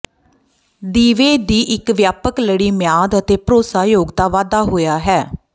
ਦੀਵੇ ਦੀ ਇੱਕ ਵਿਆਪਕ ਲੜੀ ਮਿਆਦ ਅਤੇ ਭਰੋਸੇਯੋਗਤਾ ਵਾਧਾ ਹੋਇਆ ਹੈ